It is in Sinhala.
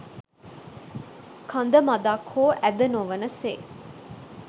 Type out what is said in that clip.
කඳ මඳක් හෝ ඇද නොවන සේ